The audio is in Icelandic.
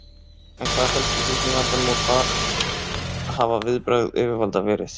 En hvað felst í fíkniefnavandanum og hver hafa viðbrögð yfirvalda verið?